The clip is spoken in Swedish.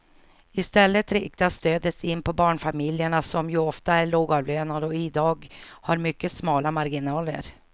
I stället riktas stödet in på barnfamiljerna som ju ofta är lågavlönade och i dag har mycket smala marginaler.